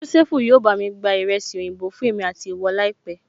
Jósẹ́fù yóò bá mi gba ìrẹsì oyinbo fún èmi àti ìwọ láìpẹ́